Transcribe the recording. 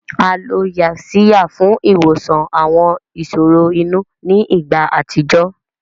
A lo Yaxiya fún ìwòsàn àwọn ìṣòro inú ní ìgbà àtijọ́